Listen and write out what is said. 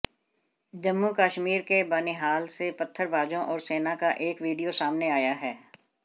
जम्मू कश्मीर के बनिहाल से पत्थरबाजों और सेना का एक वीडियो सामने आया है